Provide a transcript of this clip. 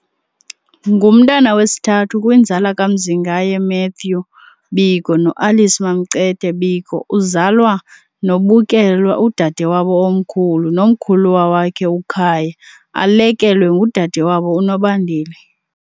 Ngumntana wesithathu kwinzala kaMzingaye Matthew Biko noAlice MamCethe Biko, uzalwa noBukelwa udade wabo omkhulu nomkhulwa wakhe uKhaya, alekelwe ngudade wabo uNobandile.